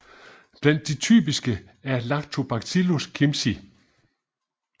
Blandt de typiske er Lactobacillus kimchii